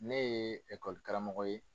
Ne ye karamogo ye.